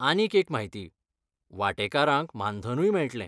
आनीक एक म्हायती, वांटेकारांक मानधनूय मेळटलें.